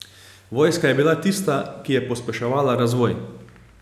Vojska je bila tista, ki je pospeševala razvoj.